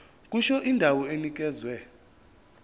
kusho indawo enikezwe